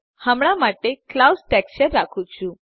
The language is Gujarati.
હમણા માટે હું ક્લાઉડ્સ ટેક્સચર રાખું છુ